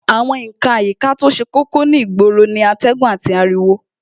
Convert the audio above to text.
Àwọn ǹkan àyíká to ṣe kókó ní ìgboro ni atẹ́gùn àti ariwo